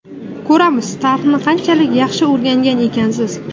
Ko‘ramiz, tarixni qanchalik yaxshi o‘rgangan ekansiz.